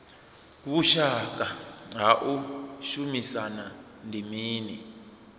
vhushaka ha u shumisana ndi mini